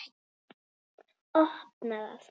Opna það.